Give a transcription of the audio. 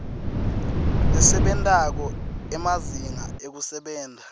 lesebentako emazinga ekusebenta